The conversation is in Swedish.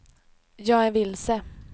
jag är vilse